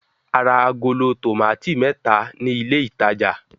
A ra agolo tòmátì mẹ́ta ní ilé-ìtajà.